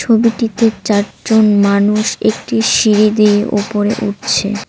ছবিটিতে চারজন মানুষ একটি সিড়ি দিয়ে ওপরে উঠছে।